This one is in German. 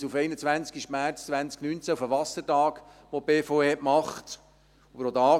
Ich verweise auf den 21. März 2019, auf den Wassertag, den die BVE gemacht hat: